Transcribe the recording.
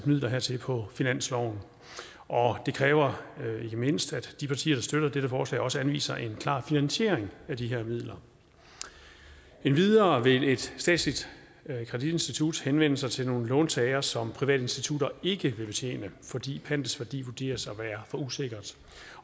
midler hertil på finansloven og det kræver ikke mindst at de partier der støtter dette forslag også anviser en klar finansiering af de her midler endvidere vil et statsligt kreditinstitut henvende sig til nogle låntagere som private institutter ikke vil betjene fordi pantets værdi vurderes at være for usikkert